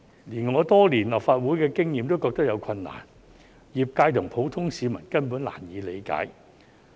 連我有多年立法會經驗的議員也認為有困難，業界和普通市民根本難以理解。